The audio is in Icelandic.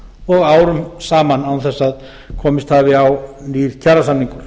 og árum saman án þess að komist hafi á nýr kjarasamningur